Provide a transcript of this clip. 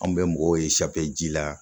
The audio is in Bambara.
Anw bɛ mɔgɔw ye ji la